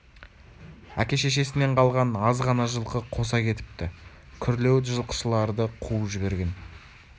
әке-шешесінен қалған аз ғана жылқы қоса кетіпті күрлеуіт жылқышыларды қуып жіберген